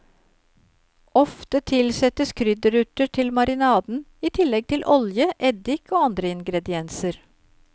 Ofte tilsettes krydderurter til marinaden, i tillegg til olje, eddik og andre ingredienser.